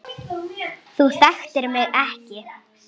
Júlía ræskir sig.